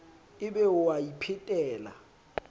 e be o a iphetela